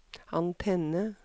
antenne